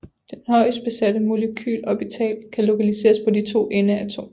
Den højestbesatte molekylorbital kan lokaliseres på de to endeatomer